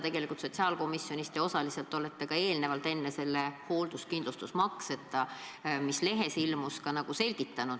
Tegelikult te olete sotsiaalkomisjonis neid põhimõtteid eelnevalt osaliselt selgitanud, ilma selle hoolduskindlustusmakse osata, millest lehes räägiti.